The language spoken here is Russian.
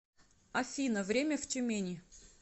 афина время в тюмени